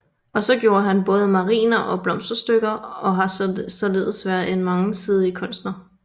Også gjorde han både mariner og blomsterstykker og har således været en mangesidig kunstner